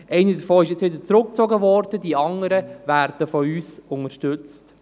Eine davon wurde wieder zurückgezogen, und die anderen werden von uns unterstützt.